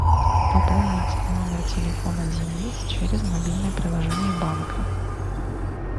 пополнить номер телефона денис через мобильное приложение банка